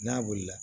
N'a wulila